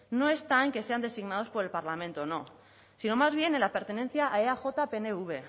no está en que sean designados por el parlamento no sino más bien en la pertenencia a eaj pnv